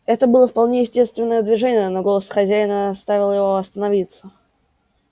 это было вполне естественное движение но голос хозяина оставил его остановиться